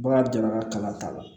Bagan jɛnna kalan t'a la